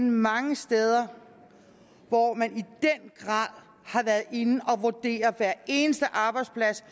mange steder hvor man i den grad har været inde at vurdere hver eneste arbejdsplads